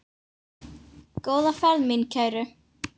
Góða ferð mín kæru.